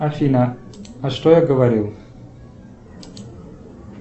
афина а что я говорил